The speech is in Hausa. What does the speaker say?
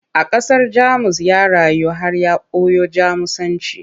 A ƙasar Jamus ya rayu har ya koyo Jamusanci.